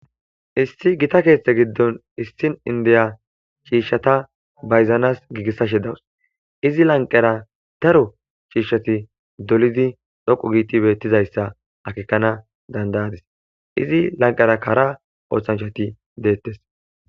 Issi Gita keththa giddonni issi indiya cishshata bayizanas gigiseshshe dawus.izzi laniqera daro cishshatti dolidd dhoqqu giddi bettizayissa akekanass danida'adiss. izzi laniqerakka hara oththanichchatti detees.